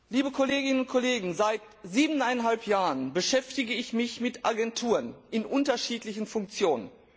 Liebe Kolleginnen und Kollegen, seit siebeneinhalb Jahren beschäftige ich mich mit Agenturen in unterschiedlichen Funktionen.